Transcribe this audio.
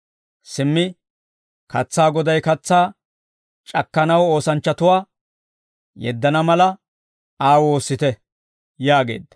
Simmi katsaa Goday katsaa c'akkanaw oosanchchatuwaa yeddana mala, Aa woossite» yaageedda.